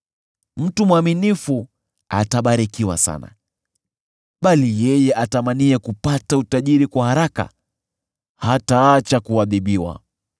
Mtu mwaminifu atabarikiwa sana, bali yeye atamaniye kupata utajiri kwa haraka hataacha kuadhibiwa.